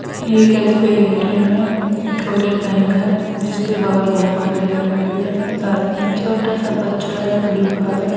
ये एक S. B I. A. T. M. है और एक बैंक है जिसके बहार बहुत सारी गाड़ियां है एक आदमी एक छोटा सा बच्चा है ब्लू कार है।